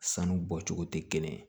Sanu bɔ cogo tɛ kelen ye